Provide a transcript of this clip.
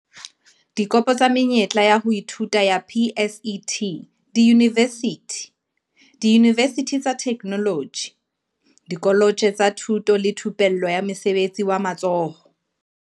Dikopo tsa menyetla ya ho ithuta ya PSET diyunivesithi, diyunivesithi tsa Theknoloji, dikoletje tsa Thuto le Thupello ya Mosebetsi wa Matsoho